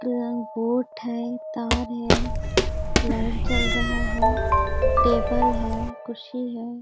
एवं बोट है तार है लाइट जल रहा है टेबल है कुर्सी है।